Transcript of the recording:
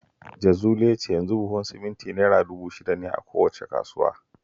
Jazuli ya ce yanzu buhun siminti Naira dubu shida ne a kowace kasuwa